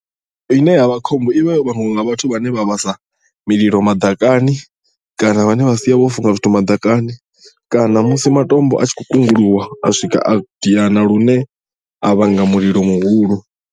Ine yavha khombo i vha yo vhangwa nga vhathu vhane vha vhasa mulilo maḓakani kana vhane vha sia vha funga zwithu maḓakani kana musi matombo a tshi khou kunguluwa a swika a diana lune a vhanga mulilo muhulu.